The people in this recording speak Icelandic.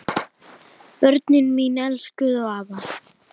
Börnin mín elskuðu afa.